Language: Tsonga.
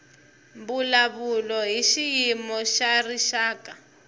mbulavulo hi xiyimo xa rixaka